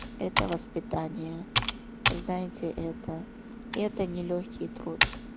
это воспитание знаете это это нелёгкий труд